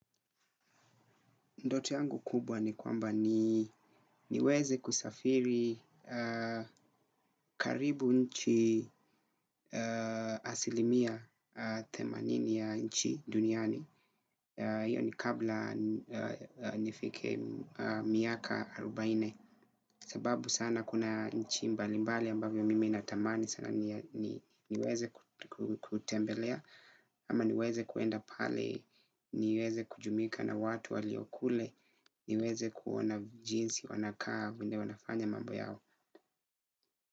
Ndoto yangu kubwa ni kwamba niweze kusafiri karibu nchi asilimia themanini ya nchi duniani. Iyo ni kabla nifike miaka arubaini sababu sana kuna nchi mbalimbali ambavyo mimi natamani sana niweze kutembelea. Ama niweze kuenda pale, niweze kujumuika na watu walio kule, niweze kuona jinsi wanakaa vile wanafanya mambo yao.